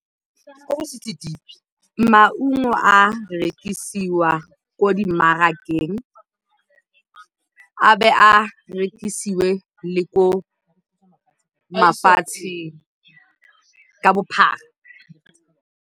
Maungo a rekisiwa ko dimmarakeng, a bo a rekisiwe le ko mafatsheng ka bophara.